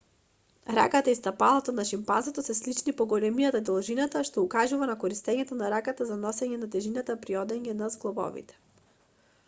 раката и стапалото на шимпанзото се слични по големина и должина што укажува на користењето на раката за носење на тежината при одење на зглобови